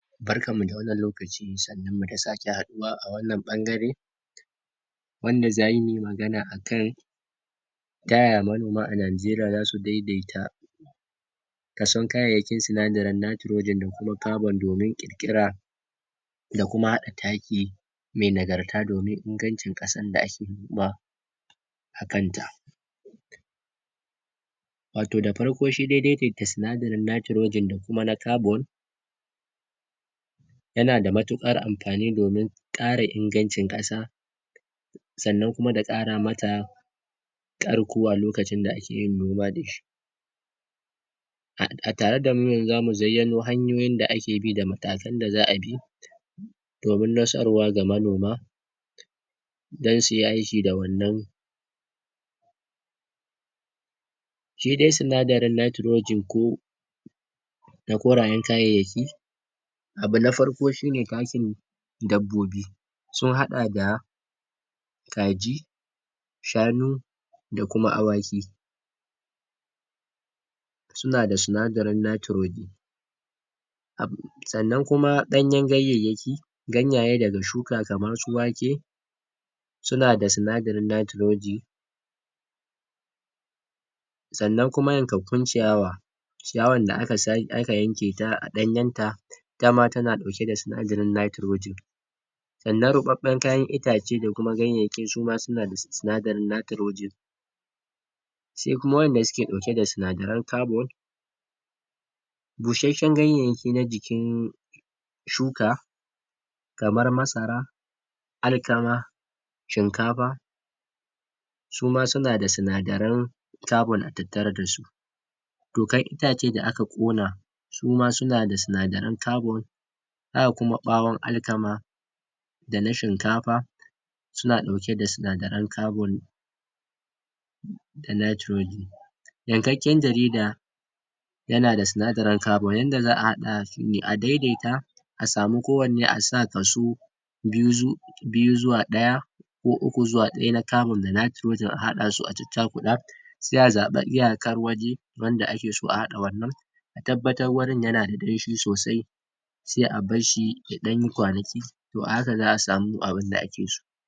Barkar mu da wannan lokaci, sannun mu da sake haɗuwa ɓangane wanda zamuyi magana akan taya manoma a Najeriya zasu daidaita kason kayayyakin sinadari nitrogen da kuma carbon wurin ƙirƙira da kuma haɗa taki mai nagarta domin ingancin ƙasar da ake noma a kanta wato da farko shi daidaita sinadarin nitrogen da kuma na carbon yana da matuƙar amfani domin ƙara ingancin ƙasa sannan kuma da ƙaramata ƙara kowa lokacin da ake yin noma da shi a a tare damu yanzu zamu zayyano hanyoyin da ake bi da matakan da za'a bi domin nasarwa ga manoma dan su aiki da wannan shi dai sinadarin natrogen ko na korayen kayayyaki abu na farko shine takin dabbobi sun haɗa da kaji shanu da kuma Awaki suna da sinadarin nitrogen sannan kuma ɗanyan kayayyaki ganyaye daga shukan kamar su Wake suna da sinadaran nitrogen sannan kuma yankankun ciyawa ciyawa da aka sake aka yanke ta a ɗanyan ta dama tana ɗauke da sinadarin nitrogen sannan ruɓaɓɓan kayan itace da kuma ganyayyaki suna da sis[um] sinadarin nitrogen sai kuma waɗanda suke da sinadarin carbon bushashshen ganyayyaki na jikin shuka kamar Masara Alkama shinkafa suma suna da sinadaran carbon a tattare dasu tokar itace da aka ƙona suma suna da sinadaran carbon haka kuma ɓawon Alkama da na shinkafa suna ɗauke da sinadaran carbon da nitrogen yankakken jarida yana da sinadarin carbon, yadda za'a a haɗasu ne, a daidaita a samu kowanne asa kaso biyu zo biyu zuwa ɗaya ko uku zuwa ɗaya na carbon da nitrogen a haɗasu a caccakuɗa sai a zaɓi iyakar waje wanda ake so a haɗa wannan a tabbatar wurin yana da danshi sosai sai a barshi ya ɗanyi kwanaki to a haka za'a samu abinda ake so